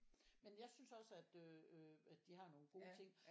Men jeg synes også at øh øh at de har nogen gode ting